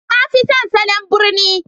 Na fi son salon birni